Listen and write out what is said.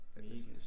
Mega